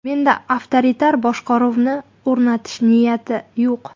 Menda avtoritar boshqaruvni o‘rnatish niyati yo‘q.